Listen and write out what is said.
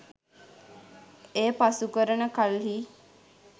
එය පසුකරන කල්හී